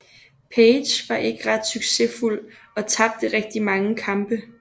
Page var ikke ret succesfuld og tabte rigtig mange kampe